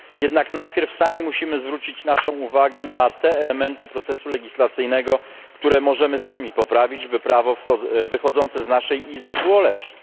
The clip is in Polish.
Jednak najpierw sami musimy zwrócić naszą uwagę na te elementy procesu legislacyjnego, które możemy sami poprawić, by prawo wychodzące z naszej Izby było lepsze.